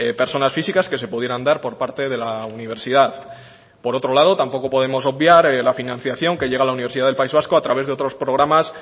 personas físicas que se pudieran dar por parte de la universidad por otro lado tampoco podemos obviar la financiación que llega a la universidad del país vasco a través de otros programas